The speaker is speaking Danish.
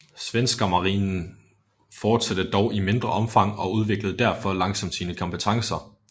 Svenska marinen fortsatte dog i mindre omfang og udviklede derfor langsomt sine kompetencer